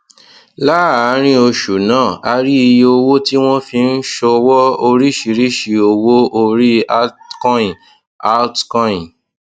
láàárín oṣù náà a rí iye owó tí wọn fi ń ṣòwò oríṣiríṣi owó orí altcoin altcoin